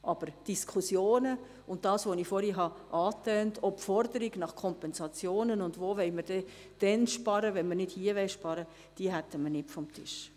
Aber die Diskussionen, das vorher von mir Erwähnte, auch die Forderung nach Kompensationen und die Frage, wo wir denn sparen wollten, wenn nicht hier, hätten wir nicht vom Tisch.